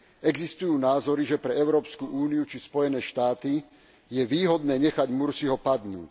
Existujú názory, že pre Európsku úniu či Spojené štáty je výhodné nechať Mursího padnúť.